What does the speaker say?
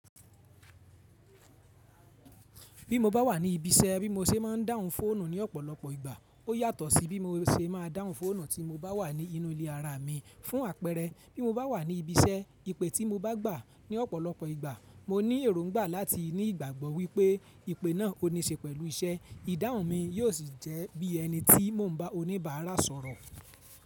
Bí mo bá wà ní ibi iṣẹ́, bí mo ṣe máa ń dáhùn fóònù ní ọ̀pọ̀lọpọ̀ ìgbà, ó yàtọ̀ sí bí mo ṣe máa dáhùn fóònù tí mo bá wà ní inú ilé ara mi. Fún àpẹẹrẹ, bí mo bá wà ní ibi iṣẹ́, ìpè tí mo bá gbà ní ọ̀pọ̀lọpọ̀ ìgbà, mo ní èróngbà láti ní ìgbàgbọ́ wípé ìpè náà ò ní ṣe pẹ̀lú iṣẹ́. Ìdáhùn mi yíò sì jẹ́ bí ẹni tí mo ń bá oníbàárà sọ̀rọ̀.